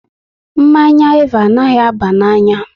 Mmanya Eva anaghị aba n'anya